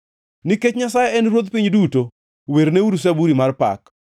Nikech Nyasaye en Ruodh piny duto, werneuru zaburi mar pak.